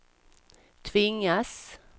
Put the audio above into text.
tvingas